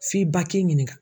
F'i ba k'i ɲininka.